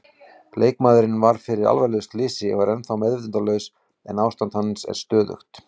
Leikmaðurinn varð fyrir alvarlegu slysi og er ennþá meðvitundarlaus en ástand hans er þó stöðugt.